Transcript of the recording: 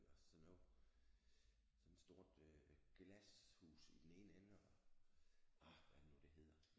Eller sådan noget sådan et stort øh glashus i den ene ende og ah hvad er det nu det hedder?